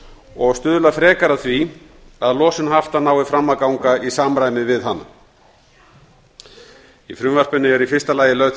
og stuðla frekar að því að losun hafta nái fram að ganga í samræmi við hana í frumvarpinu er í fyrsta lagi lög til